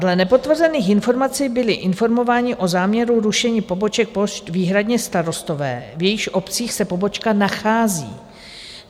Dle nepotvrzených informací byli informováni o záměru rušení poboček pošt výhradně starostové, v jejichž obcích se pobočka nachází.